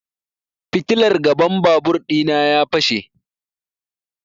Fitilar gaban babur ɗina ya fashe